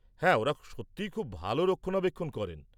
হ্যাঁ, ওঁরা সত্যিই খুব ভাল রক্ষণাবেক্ষণ করেন।